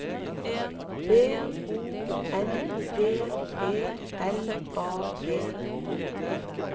B O N D E L A G